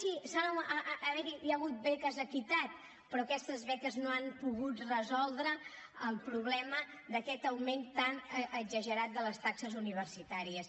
sí hi ha hagut beques equitat però aquestes beques no han pogut resoldre el problema d’aquest augment tan exagerat de les taxes universitàries